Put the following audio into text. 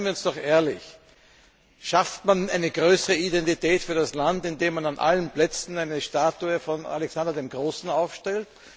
Seien wir doch ehrlich Schafft man eine größere Identität für das Land, indem man auf allen Plätzen eine Statue von Alexander dem Großen aufstellt?